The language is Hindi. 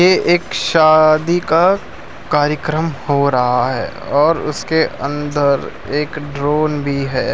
ये एक शादी का कार्यक्रम हो रहा है और उसके अंदर एक ड्रोन भी है।